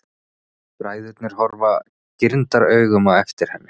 Bræðurnir horfa girndaraugum á eftir henni.